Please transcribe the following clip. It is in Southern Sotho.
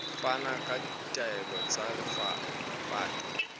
fana ka ditaelo tsa lepato